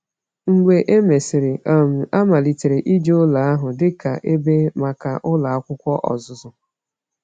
Mgbe e mesịrị, um a malitere iji ụlọ ahụ dị ka ebe maka Ụlọ Akwụkwọ Ọzụzụ.